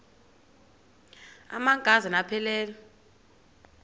amanka zana aphilele